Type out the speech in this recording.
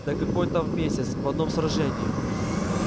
да какое там в месяц в одном сражении